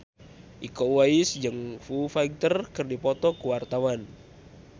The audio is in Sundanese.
Iko Uwais jeung Foo Fighter keur dipoto ku wartawan